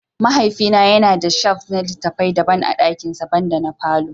Mahaifina yana da shelf na littafi daban a dakinsa, banda na falon.